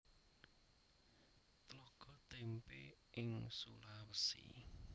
Tlaga Témpé ing Sulawesi